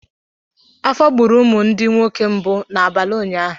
Afọ gburu ụmụ m ndi nwoke mgbu n’abalị ụnyaahụ.